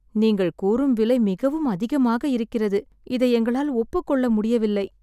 நீங்கள் கூறும் விலை மிகவும் அதிகமாக இருக்கிறது. இதை எங்களால் ஒப்புக்கொள்ள முடியவில்லை.